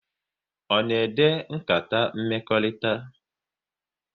Ọ na ede nkata mmekọrịta?